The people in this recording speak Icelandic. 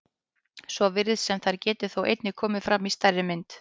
Svo virðist sem þær geti þó einnig komið fram í stærri mynd.